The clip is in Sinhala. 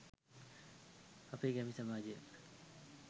අපේ ගැමි සමාජය